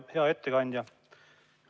Hea ettekandja!